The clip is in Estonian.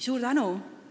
Suur tänu!